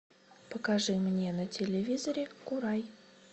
покажи мне на телевизоре курай